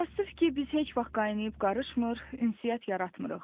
Təəssüf ki, biz heç vaxt qaynayıb-qarışmır, ünsiyyət yaratmırıq.